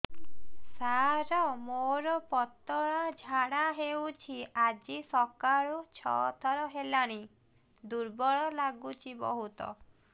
ସାର ମୋର ପତଳା ଝାଡା ହେଉଛି ଆଜି ସକାଳୁ ଛଅ ଥର ହେଲାଣି ଦୁର୍ବଳ ଲାଗୁଚି ବହୁତ